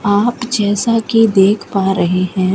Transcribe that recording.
आप जैसा कि देख पा रहे हैं।